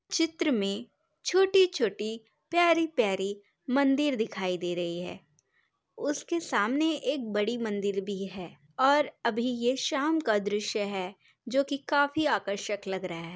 चित्र में छोटी -छोटी प्यारी -प्यारी मंदिर दिखाई दे रहे है। उसके सामने एक बड़ी मंदिर भी है और अभी ये शाम का द्रिश्य है जो की काफी आकर्षक लग रहा है।